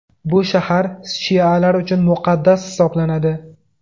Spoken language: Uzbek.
Bu shahar shialar uchun muqaddas hisoblanadi.